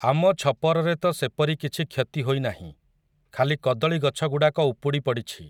ଆମ ଛପରରେ ତ ସେପରି କିଛି କ୍ଷତି ହୋଇନାହିଁ, ଖାଲି କଦଳୀ ଗଛଗୁଡ଼ାକ ଉପୁଡ଼ି ପଡ଼ିଛି ।